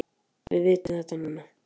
Við vitum þetta núna.